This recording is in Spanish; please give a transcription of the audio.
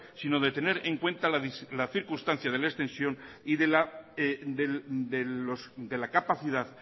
sino de tener en cuenta la circunstancia de la extensión y de la capacidad